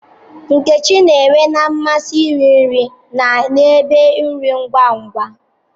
Nkechi n'nwe na-amasị iri nri na n'ebe nri ngwa ngwa.